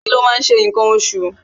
Obìnrin ló máa ń ṣe ǹkan oṣù